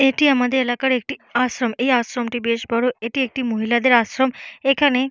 এটি আমাদের এলাকার একটি আশ্রম। এই আশ্রমটি বেশ বড়। এটি একটি মহিলাদের আশ্রম। এখানে--